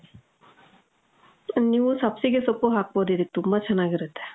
ನೀವೂ ಸಬ್ಸಿಗೆ ಸೊಪ್ಪು ಹಾಕ್ಬೋದು ಇದಕ್ಕೆ. ತುಂಬಾ ಚನ್ನಾಗಿರತ್ತೆ.